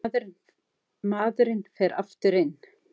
Hann ætlaði ekki að láta þessa norn henda sér niður tröppurnar.